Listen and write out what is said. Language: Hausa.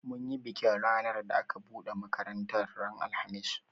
Mun yi bikin ranar da aka buɗe makaratar ran alhamis